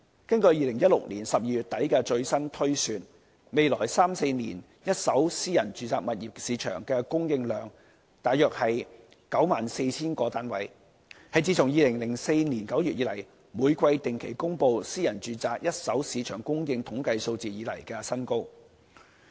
根據2016年12月底的最新推算，未來三四年一手私人住宅物業市場的供應量約為 94,000 個單位，是自2004年9月以來，每季定期公布私人住宅一手市場供應統計數字以來的新高。